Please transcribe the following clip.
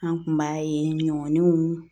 An kun b'a ye ɲɔninw